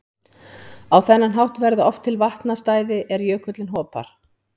Á þennan hátt verða oft til vatnastæði er jökullinn hopar.